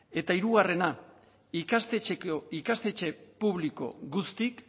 eta hirugarrena ikastetxe publiko guztiek